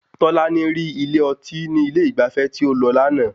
Tọ́lání rí ilé ọtí ní ilé ìgbafẹ́ tí ó lọ lánàá